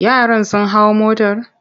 Yaran sun hau motor?